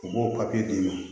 U b'o papiye d'i ma